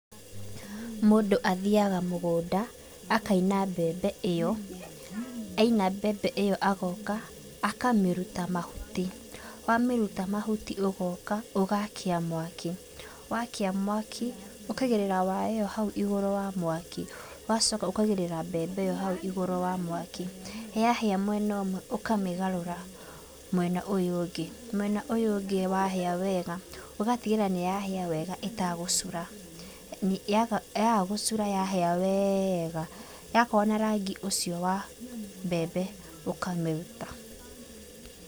Mũndũ athiaga mũgũnda, akaina mbembe ĩyo, aina mbembe ĩyo agoka, akamĩruta mahuti. Wamĩruta mahuti ũgoka ũgakia mwaki, wakia mwaki ũkaigĩrĩra waya ĩyo hau igũrũ wa mwaki ũgacoka ũkaigĩrĩra mbembe ĩyo hau igũrũ wa mwaki. Yahĩa mwena ũmwe ũkamĩgarũra mwena ũyũ ũngĩ. Mwena ũyũ ũngĩ wahĩa wega ũgatigĩrĩra nĩ yahĩa wega ĩtagũcura. Yaga yaga gũcura yahĩa wega, yakorwo na rangi ũcio wa mbembe, ũkamĩruta.